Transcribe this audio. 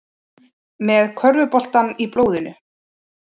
Með körfuboltann í blóðinu